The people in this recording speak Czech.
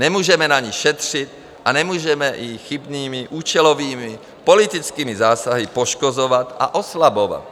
Nemůžeme na ní šetřit a nemůžeme ji chybnými účelovými politickými zásahy poškozovat a oslabovat.